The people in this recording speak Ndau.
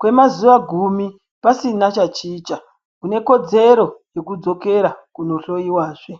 kwemazuwa gumi pasina chachicha, une kodzero yekudzokera kunohloiwazve.